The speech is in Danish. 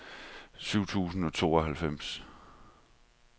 syv tusind og tooghalvfems